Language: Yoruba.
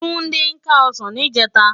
Tunde ká òsán nijètá